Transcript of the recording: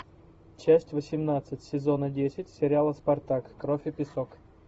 часть восемнадцать сезона десять сериала спартак кровь и песок